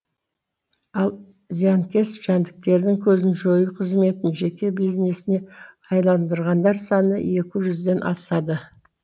ал зиянкес жәндіктердің көзін жою қызметін жеке бизнесіне айналдырғандар саны екі жүзден асады